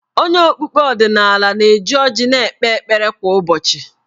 Onye okpukpe ọdịnala na-eji ọjị na-ekpe ekpere kwa ụbọchị.